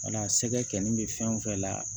Mana sɛgɛ kɛli bɛ fɛn o fɛn la